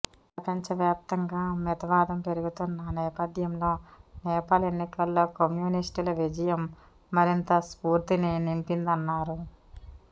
ప్రపంచవ్యాప్తంగా మితవాదం పెరుగుతున్న నేపథ్యంలో నేపాల్ ఎన్నికల్లో కమ్యూనిస్టుల విజయం మరింత స్ఫూర్తిని నింపిందన్నారు